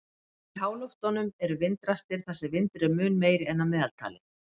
Í háloftunum eru vindrastir þar sem vindur er mun meiri en að meðaltali.